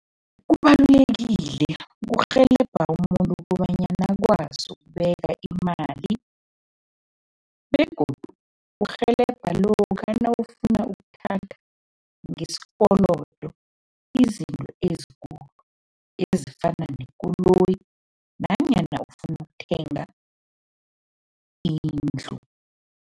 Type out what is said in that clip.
Kubalulekile, kurhelebha umuntu kobanyana akwazi ukubeka imali begodu kurhelebha lokha nawufuna ukuthatha ngesikolodo izinto ezikulu, ezifana nekoloyi nanyana ufuna ukuthenga indlu.